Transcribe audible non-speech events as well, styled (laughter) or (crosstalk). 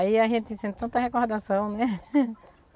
Aí a gente sente tanta recordação, né? (laughs)